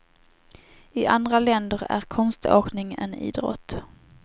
I andra länder är konståkning en idrott.